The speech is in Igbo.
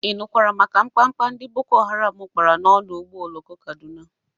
Ị nụkwara maka mkpamkpa ndị boko haram kpara n'ọdụ ụgbọ oloko Kadụna?